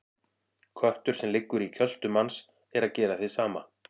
Köttur sem liggur í kjöltu manns er að gera hið sama.